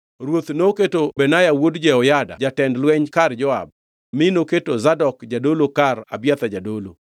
Ruoth noketo Benaya wuod Jehoyada jatend lweny kar Joab mi noketo Zadok jadolo kar Abiathar jadolo.